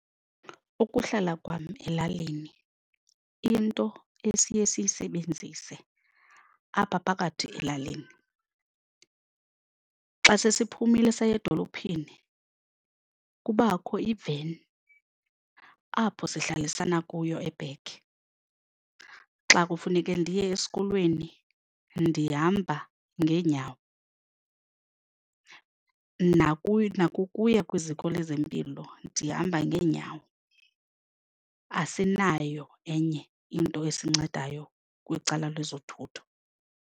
Ukuhlala kwam elalini into esiye siyisebenzise apha phakathi elalini xa sesiphumile saya edolophini kubakho i-veni apho sihlalisana kuyo e-back. Xa kufuneke ndiye esikolweni ndihamba ngeenyawo nakukuya kwiziko lezempilo ndihamba ngeenyawo, asinayo enye into esincedayo kwicala lwezothutho.